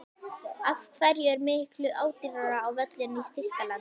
Af hverju er miklu ódýrara á völlinn í Þýskalandi?